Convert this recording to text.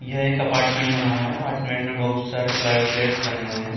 यह एक अपार्टमेंट बना हुआ है। अपार्टमेंट में बहुत सारे फ्ला फ्लैट्स बने हुए हैं।